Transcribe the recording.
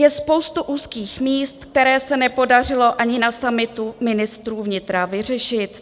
Je spousta úzkých míst, která se nepodařilo ani na summitu ministrů vnitra vyřešit.